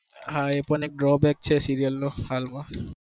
હા એ પણ એક drow back છે serial હાલ માં